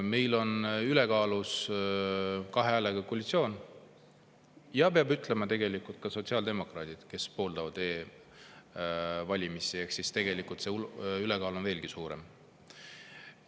Meil on ülekaalus kahe osapoolega koalitsioon ja kuna ka sotsiaaldemokraadid pooldavad e-valimisi, siis see ülekaal on veelgi suurem.